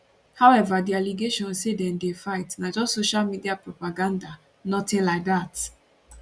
however di allegation say dem dey fight na just social media propaganda notin like dat